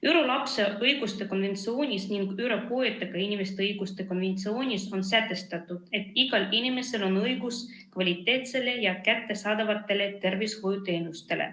ÜRO lapse õiguste konventsioonis ning ÜRO puuetega inimeste õiguste konventsioonis on sätestatud, et igal inimesel on õigus kvaliteetsetele ja kättesaadavatele tervishoiuteenustele.